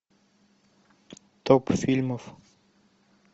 топ фильмов